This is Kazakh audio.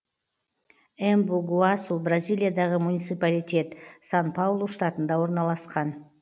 эмбу гуасу бразилиядағы муниципалитет сан паулу штатында орналасқан